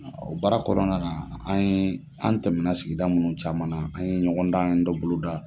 O baara kɔnɔna an ye an tɛmɛna sigida mun caman na an ye ɲɔgɔn dan dɔ boloda.